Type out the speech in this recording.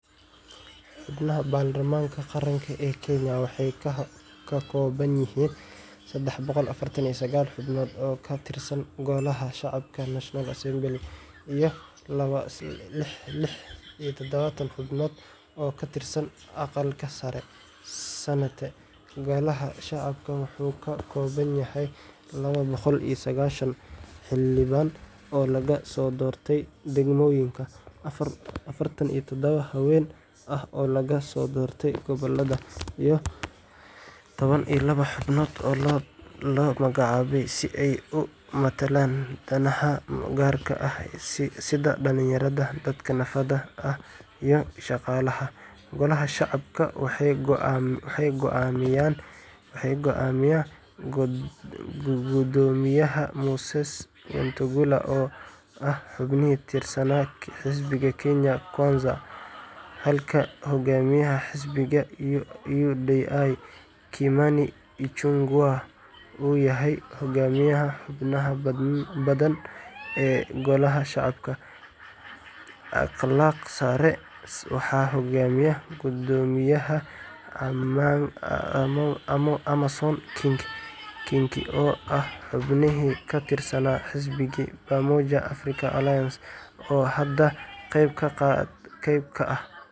Xubnaha Baarlamaanka Qaranka ee Kenya waxay ka kooban yihiin sedex boqol iyo afaratan iyo sagal xubnood oo ka tirsan Golaha Shacabka National Assembly) iyo lixdan iyo todoba xubnood oo ka tirsan Aqalka Sare Senate. Golaha Shacabka wuxuu ka kooban yahay laba boqol sagashan xildhibaan oo laga soo doortay degmooyinka, afartan iyo todoba haween ah oo laga soo doortay gobollada, iyo laba iyo toban xubnood oo la magacaabay si ay u matalaan danaha gaarka ah sida dhalinyarada, dadka naafada ah, iyo shaqaalaha .Golaha Shacabka waxaa hogaamiya Guddoomiyaha Moses Wetangula, oo ah xubin ka tirsan xisbiga Kenya Kwanza, halka hogaamiyaha xisbiga UDA, Kimani Ichung’wah, uu yahay Hogaamiyaha Xubnaha Badan ee Golaha Shacabka . Aqalka Sare waxaa hogaamiya Guddoomiyaha Amason Kingi, oo ah xubin ka tirsan xisbiga Pamoja African Alliance, oo hadda qayb ka ah.